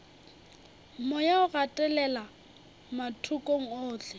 moya o gatelela mathokong ohle